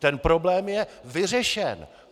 Ten problém je vyřešen!